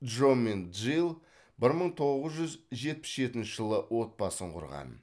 джо мен джилл бір мың тоғыз жүз жетпіс жетінші жылы отбасын құрған